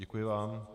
Děkuji vám.